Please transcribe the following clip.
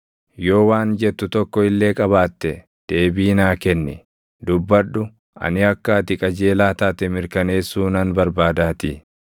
Yoo waan jettu tokko illee qabaatte deebii naa kenni; dubbadhu, ani akka ati qajeelaa taate mirkaneessuu nan barbaadaatii.